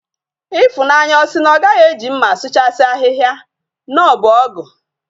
Ifunanya osi na ogaghi eji mma asuchasi ahiahia? na obu ogu?